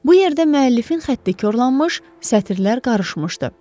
Bu yerdə müəllifin xətti korlanmış, sətirlər qarışmışdı.